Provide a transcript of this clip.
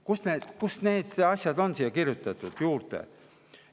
Kust need asjad on siia juurde kirjutatud?